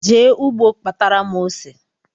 Jee ụgbọ kpatara m ose